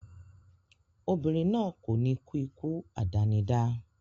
Obìnrin náà kò ní kú ikú àdánidá